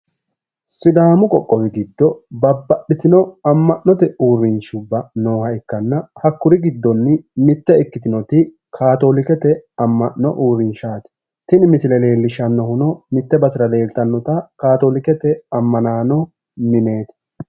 Sidaamu qoqqowi giddo babbaxxitino amma'note uurrinshubba nooha ikkanna, hakkuri giddoonni mite ikkitinoti kaatolikete amma'no uurrinshaati, tini misileno leellishshannohuno mitte basera leeltannota kaatolikete amma'nano mineeti.